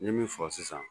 N ye min fɔ sisan